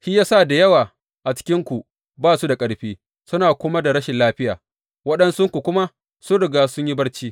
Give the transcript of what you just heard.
Shi ya sa da yawa a cikinku ba su da ƙarfi, suna kuma da rashin lafiya, waɗansunku kuma sun riga sun yi barci.